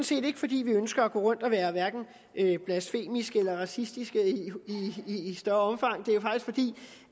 set ikke fordi vi ønsker at gå rundt og være hverken blasfemiske eller racistiske i større omfang det